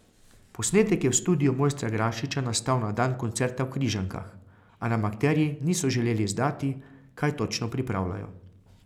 Posnetek je v studiu mojstra Grašiča nastal na dan koncerta v Križankah, a nam akterji niso želeli izdati, kaj točno pripravljajo.